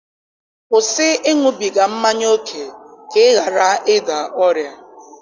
Kwụsị ịṅụbiga mmanya ókè, ka ị ghara ịda ọrịa!